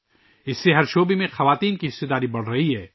اس سے ہر شعبے میں خواتین کی شرکت بڑھ رہی ہے